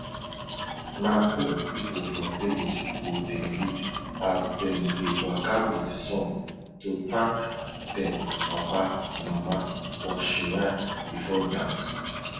na old pipo for village go dey lead as dem dey waka with song to thank dem papa mama for shrine bifo dance